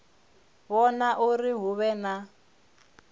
vhona uri hu vhe na